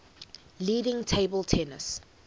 leading table tennis